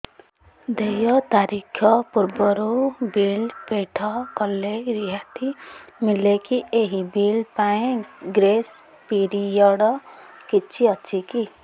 ଦେୟ ତାରିଖ ପୂର୍ବରୁ ବିଲ୍ ପୈଠ କଲେ ରିହାତି ମିଲେକି ଏହି ବିଲ୍ ପାଇଁ ଗ୍ରେସ୍ ପିରିୟଡ଼ କିଛି ଅଛିକି